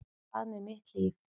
Hvað með mitt líf?